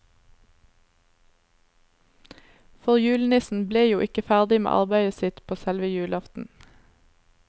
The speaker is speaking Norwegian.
For julenissen ble jo ikke ferdig med arbeidet sitt på selve julaften.